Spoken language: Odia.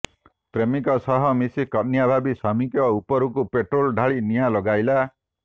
ପ୍ରେମିକ ସହ ମିଶି କନ୍ୟା ଭାବି ସ୍ୱାମୀ ଉପରକୁ ପେଟ୍ରୋଲ ଢ଼ାଲି ନିଆଁ ଲଗାଇଲା